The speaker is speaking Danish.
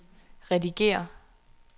redigér